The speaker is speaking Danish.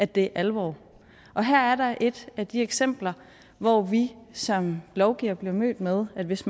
det alvor og her er der et af de eksempler hvor vi som lovgivere bliver mødt med at hvis